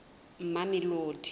mamelodi